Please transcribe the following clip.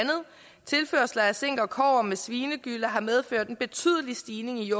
tilførsler af zink og kobber sammen med svinegyllen har medført en betydelig stigning i